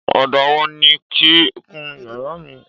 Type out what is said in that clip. Ọ̀dà wo ni kí n kun yàrá mi?